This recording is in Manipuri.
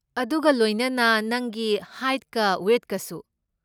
ꯑꯗꯨꯒ ꯂꯣꯏꯅꯅ ꯅꯪꯒꯤ ꯍꯥꯏꯠꯀ ꯋꯦꯏꯠꯀꯁꯨ꯫